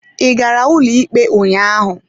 Ị gara ụlọikpe ụnyaahụ?